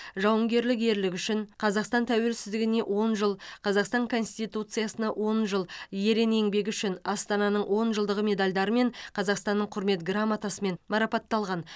жауынгерлік ерлігі үшін қазақстан тәуелсіздігіне он жыл қазақстан конституциясына он жыл ерен еңбегі үшін астананың он жылдығы медальдарымен қазақстанның құрмет грамотасымен марапатталған